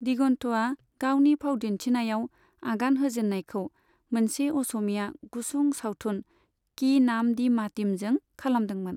दिगनथ'आ गावनि फावदिन्थिनायाव आगान होजेननायखौ मोनसे अस'मिया गुसुं सावथुन की नाम दी मतीमजों खालामदोंमोन।